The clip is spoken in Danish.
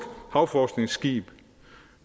havforskningsskib